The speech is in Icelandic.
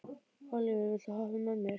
Ólíver, viltu hoppa með mér?